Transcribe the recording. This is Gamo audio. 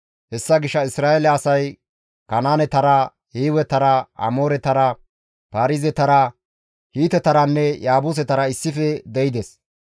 Hessa gishshas Isra7eele asay Kanaanetara, Hiiwetara, Amooretara, Paarizetara, Hiitetaranne Yaabusetara issife de7ides.